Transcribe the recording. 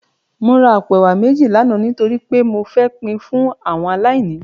Mó rá àpó èwá méji làná nitóri pé mó fè pin fún áwòn àláìní